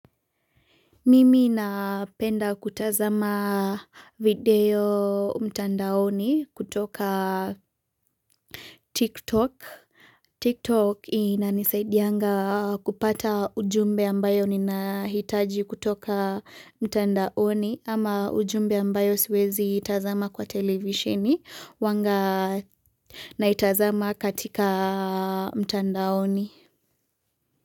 Mimi napenda kutazama video mtandaoni kutoka tiktok. Tiktok inanisaidianga kupata ujumbe ambayo nina hitaji kutoka mtandaoni ama ujumbe ambayo siwezi itazama kwa televisioni wanga na itazama katika mtandaoni.